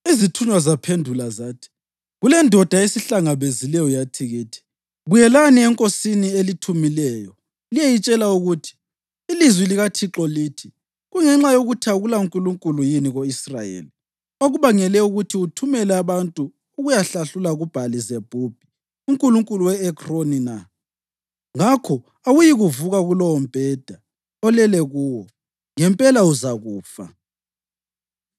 Izithunywa zaphendula zathi, “Kulendoda esihlangabezileyo yathi kithi, ‘Buyelani enkosini elithumileyo liyeyitshela ukuthi, “Ilizwi likaThixo lithi: Kungenxa yokuthi akulaNkulunkulu yini ko-Israyeli okubangele ukuthi uthumele abantu ukuyahlahlula kuBhali-Zebhubhi, unkulunkulu we-Ekroni na? Ngakho awuyikuvuka kulowombheda olele kuwo. Ngempela uzakufa!” ’”